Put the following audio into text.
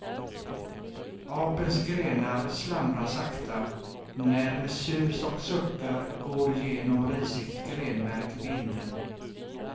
Apelns grenar slamra sakta, när med sus och suckar går genom risigt grenverk vinden.